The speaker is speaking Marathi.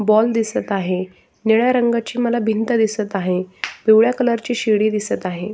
बॉल दिसत आहे निळ्या रंगाची मला भिंत दिसत आहे पिवळ्या कलर ची शिडी दिसत आहे.